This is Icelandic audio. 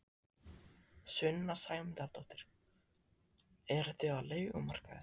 Sunna Sæmundsdóttir: Eruð þið á leigumarkaði?